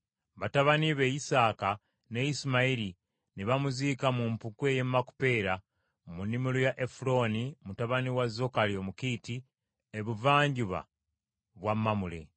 Batabani be Isaaka ne Isimayiri ne bamuziika mu mpuku ey’e Makupeera, mu nnimiro ya Efulooni, mutabani wa Zokali Omukiiti, ebuvanjuba bwa Mamule;